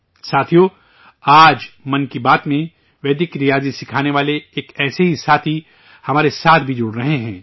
ساتھیو، آج 'من کی بات' میں ویدک ریاضی سکھانے والے ایک ایسے ہی ساتھی ہمارے ساتھ بھی جڑ رہے ہیں